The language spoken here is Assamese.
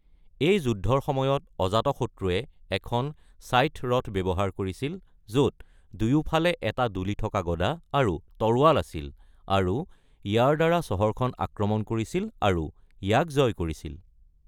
এই যুদ্ধৰ সময়ত, অজাতশত্ৰুৱে এখন ছাইথ-ৰথ ব্যৱহাৰ কৰিছিল, য'ত দুয়োফালে এটা দুলি থকা গদা আৰু তৰোৱাল আছিল আৰু ইয়াৰ দ্বাৰা চহৰখন আক্ৰমণ কৰিছিল আৰু ইয়াক জয় কৰিছিল।